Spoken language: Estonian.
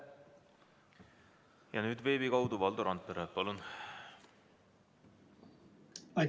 Ja nüüd veebi kaudu Valdo Randpere, palun!